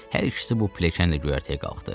Hər ikisi bu pilləkənlə göyərtəyə qalxdı.